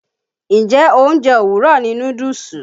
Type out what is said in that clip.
Njẹ́ oúnjẹ òwúrọ̀ ni núdúùsù?